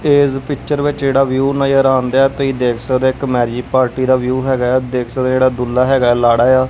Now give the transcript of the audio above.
ਇਸ ਪਿਕਚਰ ਵਿੱਚ ਜਿਹੜਾ ਵਿਊ ਨਜਰ ਆਉਣ ਦਿਆ ਹੈ ਤੁਸੀਂ ਦੇਖ ਸਕਦੇ ਹੋ ਇੱਕ ਮੈਰਿਜ ਪਾਰਟੀ ਦਾ ਵਿਊ ਹੈਗਾ ਆ ਦੇਖ ਸਕਦੇ ਆ ਜਿਹੜਾ ਦੁਲਹਾ ਹੈਗਾ ਆ ਲਾਹੜਾ ਆ --